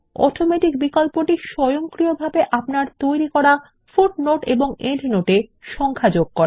automatic বিকল্পটি স্বয়ংক্রিয়ভাবে আপনার তৈরী করা পাদটীকা বা প্রান্তটীকা তে সংখ্যা যোগ করে